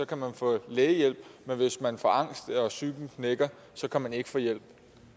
kan man få lægehjælp men hvis man får angst og psyken knækker kan man ikke få hjælp